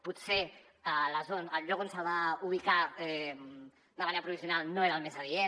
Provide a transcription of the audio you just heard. potser el lloc on se’l va ubicar de manera provisional no era el més adient